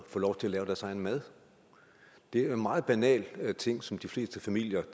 få lov til at lave deres egen mad det er jo en meget banal ting som de fleste familier